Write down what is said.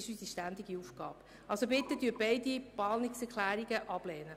Ich bitte Sie deshalb, beide Planungserklärungen abzulehnen.